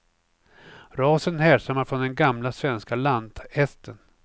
Rasen härstammar från den gamla svenska lanthästen.